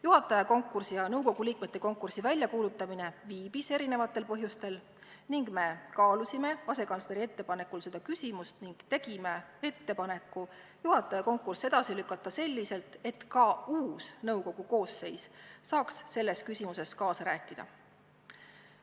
Juhataja konkursi ja nõukogu liikmete konkursi väljakuulutamine viibis erinevatel põhjustel ning me kaalusime asekantsleri ettepanekul seda küsimust ning tegime ettepaneku juhataja konkurss edasi lükata selliselt, et ka uus nõukogu koosseis saaks selles küsimuses kaasa rääkida.